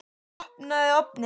Opnaðu ofninn!